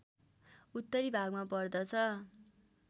उत्तरी भागमा पर्दछ